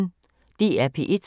DR P1